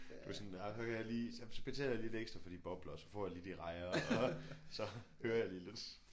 Du er sådan der hører jeg lige så betaler jeg lige lidt ekstra for de bobler og så får jeg lige de rejer og så hører jeg lige lidt